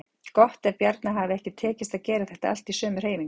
Gott ef Bjarna hafi ekki tekist að gera þetta allt í sömu hreyfingunni.